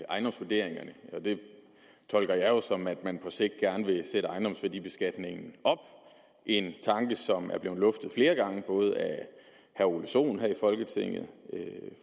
ejendomsvurderingerne og det tolker jeg jo sådan at man på sigt gerne vil sætte ejendomsværdibeskatningen op en tanke som er blevet luftet flere gange både af herre ole sohn her i folketinget